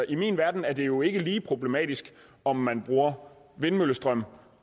i min verden er det jo ikke lige problematisk om man bruger vindmøllestrøm